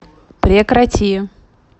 прекрати